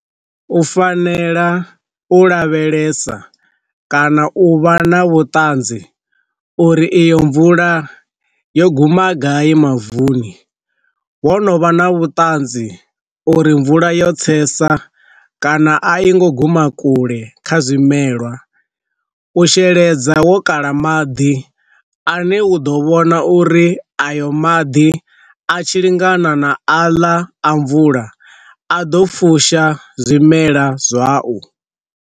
U fanela u lavhelesa kana u vha na vhuṱanzi uri iyo mvula yo guma gai mavuni, wo no vha na vhuṱanzi u ri mvula yo tsesa kana a i ngo guma kule kha zwimelwa, u sheledza wo kala maḓi a ne u ḓo vhona uri ayo maḓi a tshi lingana na a ḽa a mvula a ḓo fusha zwimela zwau.